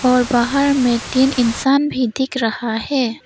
और बाहर में तीन इंसान भी दिख रहा है।